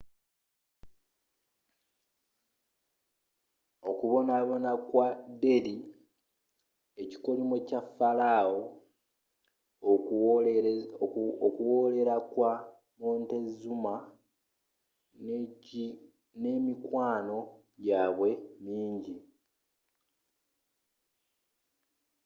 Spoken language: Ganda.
okubonaabona kwa delhi ekikolimo kya falaawo okuwoolera kwa montezuma n'emikwano gyabwe mingi